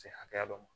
Se hakɛya dɔ ma